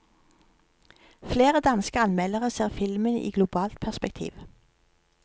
Flere danske anmeldere ser filmen i globalt perspektiv.